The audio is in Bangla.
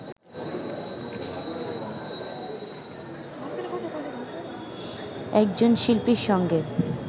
একজন শিল্পীর সঙ্গে